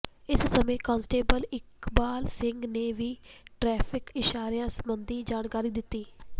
ਇਸ ਸਮੇਂ ਕਾਂਸਟੇਬਲ ਇਕਬਾਲ ਸਿੰਘ ਨੇ ਵੀ ਟਰੈਫਿਕ ਇਸ਼ਾਰਿਆਂ ਸਬੰਧੀ ਜਾਣਕਾਰੀ ਦਿੱਤੀ